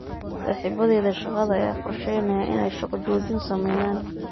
Saaxiibadayda shaqada ayaa qorsheynaya inay shaqo joojin sameeyaan.